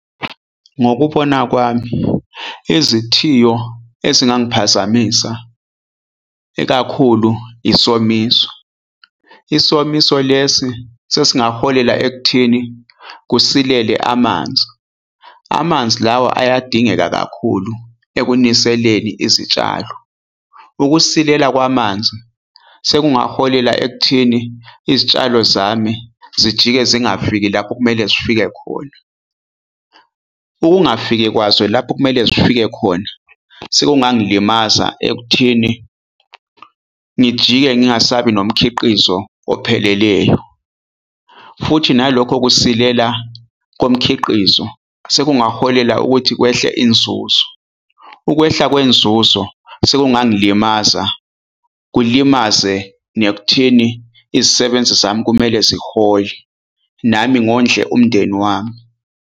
Ngokubona kwami, izithiyo ezingangiphazamisa ekakhulu yisomiso. Isomiso lesi sesingaholela ekutheni kusilele amanzi. Amanzi lawa ayadingeka kakhulu ekuniseleni izitshalo. Ukusilela kwamanzi sekungaholela ekuthini izitshalo zami zijike zingafiki lapho kumele zifike khona. Ukungafiki kwazo lapho okumele zifike khona, sekungangilimaza ekuthini ngijike ngingasabi nomkhiqizo opheleleyo. Futhi nalokho kusilela komkhiqizo, sekungaholela ukuthi kwehle inzuzo. Ukwehla kwenzuzo sekungangilimaza, kulimaze nekutheni izisebenzi zami kumele zihole nami ngondle umndeni wami.